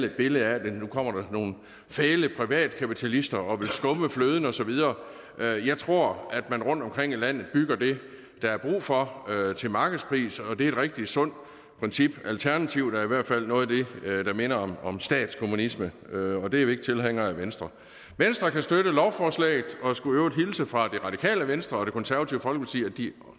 et billede af at nu kommer der nogle fæle privatkapitalister og vil skumme fløden og så videre jeg tror at man rundtomkring i landet bygger det der er brug for til markedspris og det er et rigtig sundt princip alternativet er i hvert fald noget der minder om om statskommunisme og det er vi ikke tilhængere af i venstre venstre kan støtte lovforslaget og skulle i øvrigt hilse fra det radikale venstre og det konservative folkeparti og